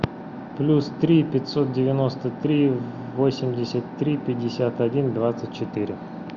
плюс три пятьсот девяносто три восемьдесят три пятьдесят один двадцать четыре